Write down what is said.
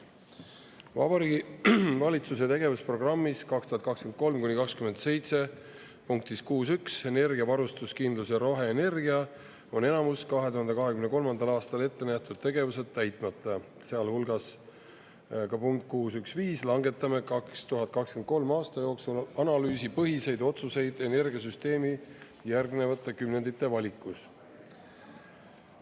Vabariigi Valitsuse tegevusprogrammis 2023–2027 punktis 6.1 "Energia varustuskindlus ja roheenergia" on enamus 2023. aastal ette nähtud tegevusi täitmata, sealhulgas ka punkt 6.1.5 "Langetame 2023. aasta jooksul analüüsipõhised otsused energiasüsteemi järgnevate kümnendite valikutes".